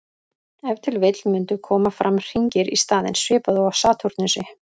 Ef til vill mundu koma fram hringir í staðinn, svipað og á Satúrnusi.